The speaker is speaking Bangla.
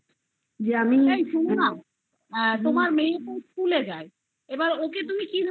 এই শুনো না তোমার মেয়ে কোন school এ যায় আবার তুমি ওকে কি ধরণের